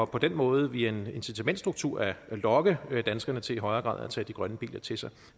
på den måde via en incitamentsstruktur at lokke danskerne til i højere grad at tage de grønne biler til sig